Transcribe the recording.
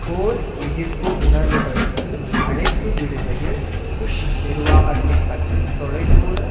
போர் எதிர்ப்பு உணர்வுகளுக்கு அழைப்பு விடுகையில் புஷ் நிர்வாகத்தை பற்றி தொலை தூர